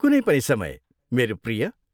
कुनै पनि समय, मेरो प्रिय।